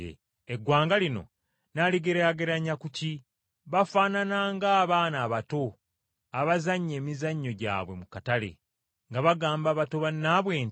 “Eggwanga lino nnaaligeraageranya ku ki? Bafaanana ng’abaana abato abazannya emizannyo gyabwe mu katale, nga bagamba bato bannaabwe nti,